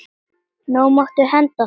Nú máttu henda þeim.